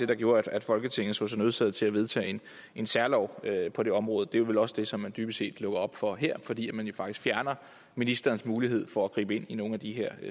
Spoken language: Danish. der gjorde at folketinget så sig nødsaget til at vedtage en særlov på det område det er vel også det som man dybest set lukker op for her fordi man faktisk fjerner ministerens mulighed for at gribe ind i nogle af de her